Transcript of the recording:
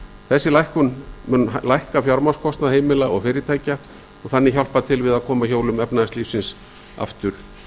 þessi lækkun stýrivaxta mun lækka fjármagnskostnað heimila og fyrirtækja og hjálpa þannig til við að koma hjólum efnahagslífsins aftur af